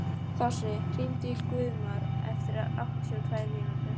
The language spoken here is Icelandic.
Þossi, hringdu í Guðmar eftir áttatíu og tvær mínútur.